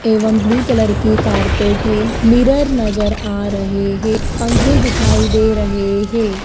एवं blue colour की carpet है मिरर नजर आ रहे है पंखे दिखाई दे रहे हे।